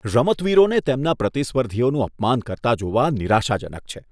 રમતવીરોને તેમના પ્રતિસ્પર્ધીઓનું અપમાન કરતા જોવા નિરાશાજનક છે.